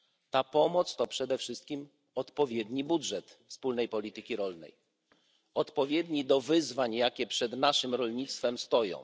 Ta pomoc to przede wszystkim odpowiedni budżet wspólnej polityki rolnej, odpowiedni do wyzwań, jakie przed naszym rolnictwem stoją.